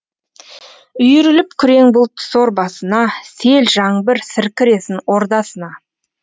үйіріліп күрең бұлт сор басына сел жаңбыр сіркіресін ордасына